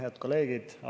Head kolleegid!